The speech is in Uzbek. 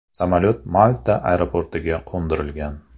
Samolyot Malta aeroportiga qo‘ndirilgan.